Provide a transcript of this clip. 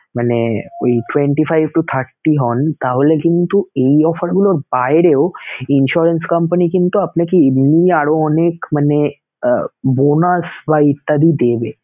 মানে ওই twenty five to thirty হন তাহলে কিন্তু এই offer গুলোর বাইরেও insurance company কিন্তু আপনাকে এমনি আরো অনেক মানে আহ bonus বা ইত্যাদি দেবে